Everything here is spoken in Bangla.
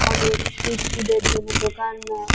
অনেক স্ট্রীট ফুড এর জন্য দোকান --